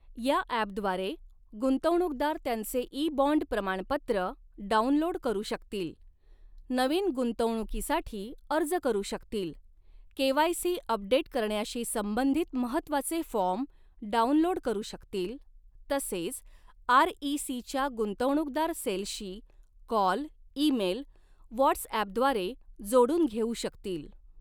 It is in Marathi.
या ॲपद्वारे गुंतवणूकदार त्यांचे ई बॉण्ड प्रमाणपत्र डाउनलोड करू शकतील, नवीन गुंतवणुकीसाठी अर्ज करू शकतील, केवायसी अपडेट करण्याशी संबंधित महत्त्वाचे फॉर्म डाउनलोड करू शकतील तसेच आर इ सी च्या गुंतवणूकदार सेलशी कॉल ईमेल व्हॉट्सॲपद्वारे जोडून घेऊ शकतील.